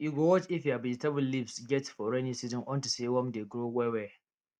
you go watch if your vegetable leaves get for rainy season unto say worm dey grow well well